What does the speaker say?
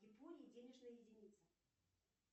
в японии денежная единица